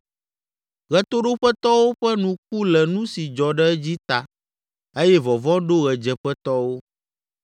Ɣetoɖoƒetɔwo ƒe nu ku le nu si dzɔ ɖe edzi ta eye vɔvɔ̃ ɖo ɣedzeƒetɔwo.